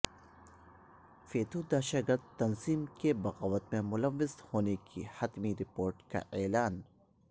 فیتو دہشت گرد تنظیم کے بغاوت میں ملوث ہونے کی حتمی رپورٹ کا اعلان